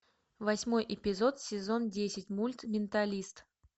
восьмой эпизод сезон десять мульт менталист